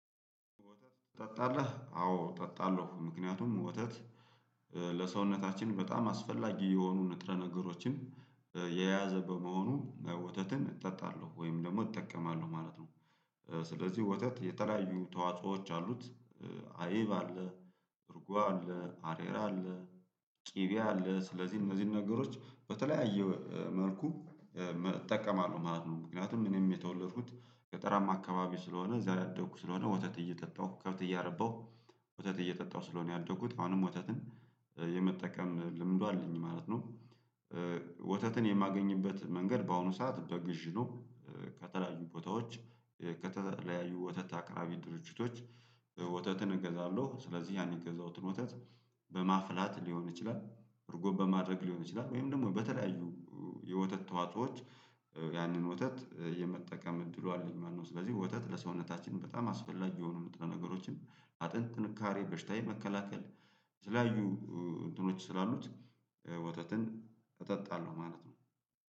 ወተት ጠጣለህ አዎ ጠጣለሁ ምክንያቱም ወተት ለሰውነታችን በጣም አስፈላጊ የሆኑ ንጥረ ነገሮችን የያዘ በመሆኑ ወተትን እጠጣለሁ ወይም ደግሞ እጠቀማለሁ ማለት ነው። ስለዚህ ወተት የተለያዩ ተዋጽኦዎች አሉት። አይብ አለ። እርጓ አለ አሬራ አለ። ቅቤ አለ ስለዚህ እነዚህን ነገሮች በተለያዩ መልኩ እጠቀማለሁ ማለት ነው። ምክንያቱም እኔም የተወለድኩት ገጠራም አካባቢ ስለሆነ እዛ ያደግኩ ስለሆነ ወተት እየጠጣሁ ከብት እያረባሁ ወተት እየጠጣሁ ስለሆነ ያደጉት አሁንም ወተትን የመጠቀም ልምዱ አለኝ ማለት ነው። ወተትን የማገኝበት መንገድ በአሁኑ ሰዓት በግዥ ነው። ከተለያዩ ቦታዎች ከተለያዩ ወተት አቅራቢ ድርጅቶች ወተትን እገዛለሁ ስለዚህ ያን የገዛሁትን ወተት በማፍላት ሊሆን ይችላል እርጎ በማድረግ ሊሆን ይችላል ወይም ደግሞ በተለያዩ የወተት ተዋጾዎች ያንን ወተት የመጠቀም እድሉ አለኝ። መኖ ስለዚህ ወተት ለሰውነታችን በጣም አስፈላጊ የሆኑ ምንጥረ ነገሮችን አጥንት ትንካሬ በሽታዬ መከላከል ስላዩ እንትኖች ስላሉት ወተትን እጠጣለሁ ማለት ነው።